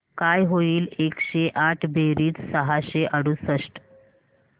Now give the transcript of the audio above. काय होईल एकशे आठ बेरीज सहाशे अडुसष्ट